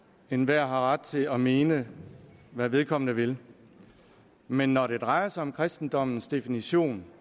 enhver har ret til til at mene hvad vedkommende vil men når det drejer sig om kristendommens definition